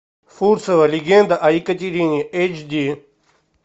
фурцева легенда о екатерине эйч ди